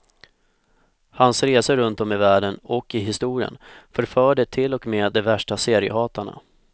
Hans resor runtom i världen och i historien förförde till och med de värsta seriehatarna.